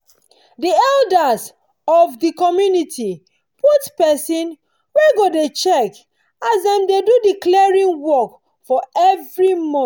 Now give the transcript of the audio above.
the elders for the community put pesin wey go dey check as them they do the clearing work for every month.